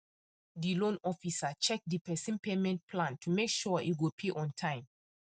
the loan officer check the person payment plan to make sure e go pay on time